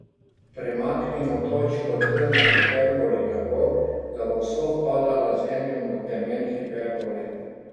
Premaknimo točko T na hiperboli tako, da bo sovpadala z enim od temen hiperbole.